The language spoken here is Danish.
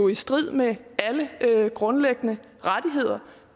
i strid med alle grundlæggende rettigheder